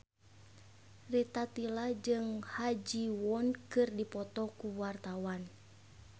Rita Tila jeung Ha Ji Won keur dipoto ku wartawan